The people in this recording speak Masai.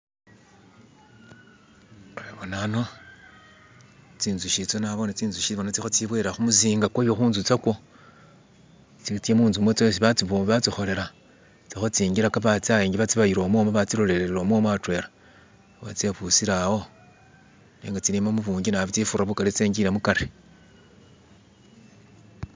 Nabona ano zinzuki zo bona, zinzuki zilikwiboyelela kumuzinga kwayo kunzu kwazo. Zilikuza munzu yazo esi bazibo..esibozikolela. zilikwingilaga bazibayila bazilolelela mwo adwena. Bona zibusile awo nenga kezili zingali da izisinga zingile kale